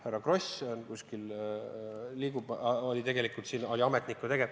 Härra Kross – seal kuskil ta liigub – oli siin siis tegevametnik.